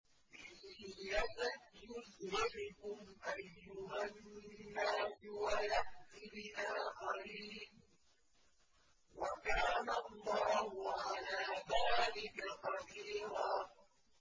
إِن يَشَأْ يُذْهِبْكُمْ أَيُّهَا النَّاسُ وَيَأْتِ بِآخَرِينَ ۚ وَكَانَ اللَّهُ عَلَىٰ ذَٰلِكَ قَدِيرًا